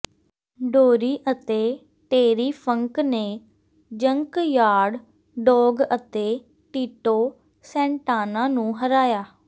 Dory ਅਤੇ Terry Funk ਨੇ Junkyard Dog ਅਤੇ ਟਿਟੋ ਸੈਂਟਾਨਾ ਨੂੰ ਹਰਾਇਆ